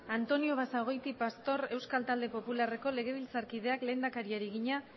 antonio basagoiti pastor euskal talde popularreko legebiltzarkideak lehendakariari egina